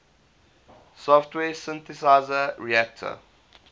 software synthesizer reaktor